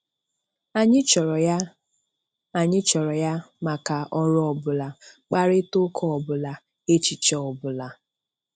Anyị chọrọ ya Anyị chọrọ ya maka ọrụ ọbụla, mkparịtaụka ọbụla, echiche ọbụla.